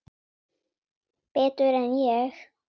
Betur en ég?